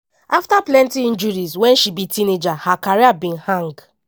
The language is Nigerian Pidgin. afta plenty injuries wen she be teenager her career bin hang.